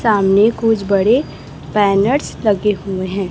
सामने कुछ बड़े बैनर्स लगे हुए हैं।